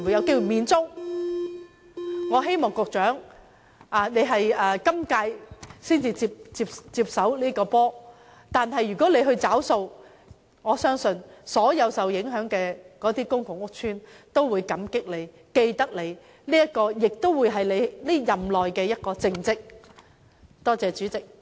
局長在今屆政府才接手處理這問題，如果他願意負責，我相信所有受影響的公共屋邨居民均會心存感激，銘記心中，而這亦會是他任內的一大政績。